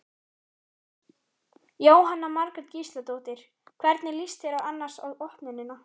Jóhanna Margrét Gísladóttir: Hvernig líst þér annars á opnunina?